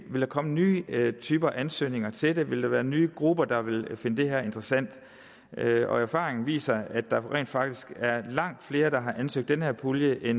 ville komme nye typer af ansøgninger til det ville der være nye grupper der ville finde det her interessant erfaringen viser at der rent faktisk er langt flere der har ansøgt den her pulje